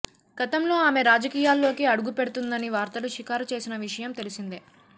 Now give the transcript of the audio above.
గతంలో ఆమె రాజకీయాల్లోకి అడుగుపెడుతుందని వార్తలు షికారు చేసిన విషయం తెలిసిందే